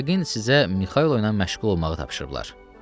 Yəqin sizə Mixailo ilə məşğul olmağı tapşırıblar.